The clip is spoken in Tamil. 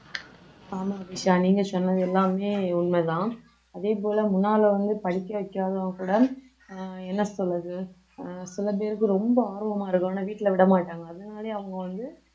ஆமா விஷா நீங்க சொன்னது எல்லாமே உண்மைதான் அதே போல முன்னால வந்து படிக்க வைக்காதவங்க கூட அஹ் என்ன சொல்றது அஹ் சில பேருக்கு ரொம்ப ஆர்வமா இருக்கும் ஆனா வீட்ல விட மாட்டாங்க அதனாலயும் அவங்க வந்து